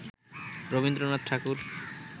Rabindranath Thakur